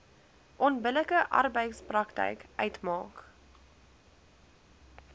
onbillike arbeidspraktyk uitmaak